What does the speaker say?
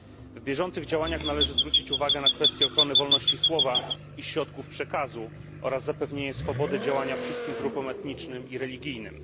W bieżących działaniach należy zwrócić uwagę na kwestie ochrony wolności słowa i środków przekazu oraz zapewnienia swobody działania wszystkim grupom etnicznym i religijnym.